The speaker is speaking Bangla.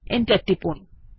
এন্টার টিপুন